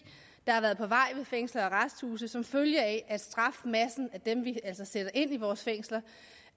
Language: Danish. har været på vej ved fængsler og arresthuse som følge af at strafmassen altså dem vi sætter ind i vores fængsler